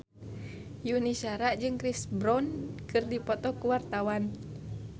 Yuni Shara jeung Chris Brown keur dipoto ku wartawan